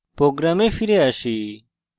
program ফিরে আসি